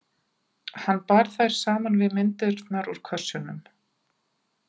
Hann bar þær saman við myndirnar úr kössunum.